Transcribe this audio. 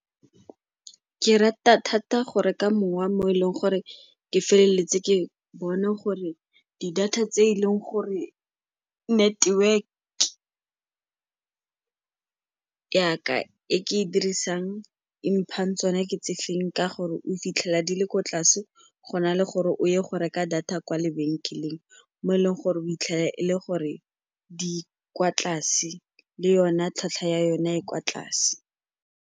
Ke rata thata go reka mowa mo e leng gore ke feleletse ke bone gore di-data tse e leng gore network ya ka e ke e dirisang e mphang tsone ke tsefeng ka gore o fitlhela di le kwa tlase go na le gore o ye go reka data kwa lebenkeleng mo e leng gore o fitlhele e le gore di kwa tlase, le yone tlhwatlhwa ya yone e kwa tlase.